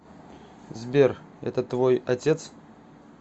сбер это твой отец